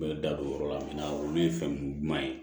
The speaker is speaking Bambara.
da don o yɔrɔ la min na olu ye fɛn ɲuman ye